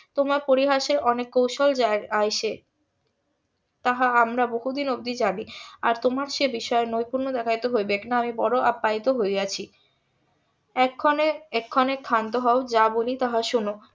তোমার পরিহাসের অনেক কৌশল আছে তাহা আমরা বহুদিন অবধি জানি আর তোমার সে বিষয়ে নৈপুণ্য দেখাইতে হইবেক নাই আমি বড়োই আপ্যায়িত হয়েছি এক্ষণে এক্ষণে ক্ষান্ত হও যা বলি তাহা শোনো